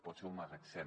pot ser un magatzem